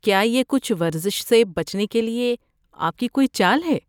کیا یہ کچھ ورزش سے بچنے کے لیے آپ کی کوئی چال ہے؟